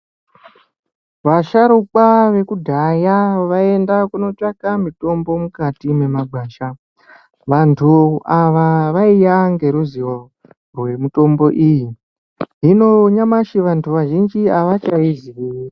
Vasharukwa vekudhaya vaienda Kuno tsvaka mutombo mukati memagwasha. Vandu ava vaiya ngeruzivo yemitombo iyi, hino nyamashi vandu vazhinji avachaiziyi.